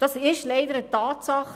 Das ist leider eine Tatsache.